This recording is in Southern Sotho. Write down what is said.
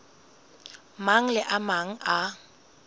mang le a mang a